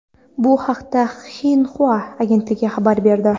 Bu haqda Xinhua agentligi xabar berdi .